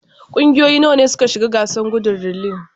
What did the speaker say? Kungiyoyi nawa ne suka shiga gasar gudun relay?